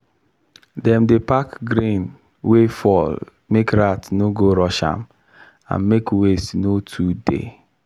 dem dey pack grain wey fall make rat no go rush am and make waste no too dey.